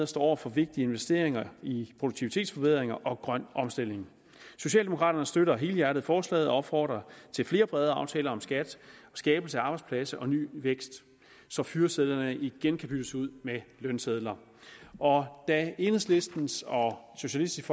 står over for vigtige investeringer i produktivitetsforbedringer og grøn omstilling socialdemokraterne støtter helhjertet forslaget og opfordrer til flere brede aftaler om skat skabelse af arbejdspladser og ny vækst så fyresedlerne igen kan byttes ud med lønsedler da enhedslistens og socialistisk